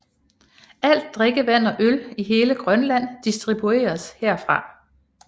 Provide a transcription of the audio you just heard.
Alt drikkevand og øl i hele Grønland distribueres herfra